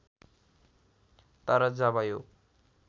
तर जब यो